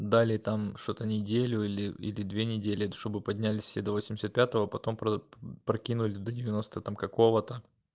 дали там что-то неделю или или две недели чтобы поднялись все до восемьдесят пятого потом прокинули до девяносто там какого-то